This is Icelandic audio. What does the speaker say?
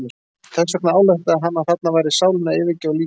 Þess vegna ályktaði hann að þarna væri sálin að yfirgefa líkamann.